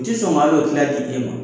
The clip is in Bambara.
N tɛ sɔn hali o tɛ na di e ma.